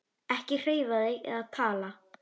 Ekki hreyfa þig eða tala.